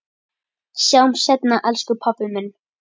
Sjáumst seinna elsku pabbi minn.